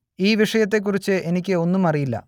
ഈ വിഷയത്തെക്കുറിച്ച് എനിക്ക് ഒന്നും അറിയില്ല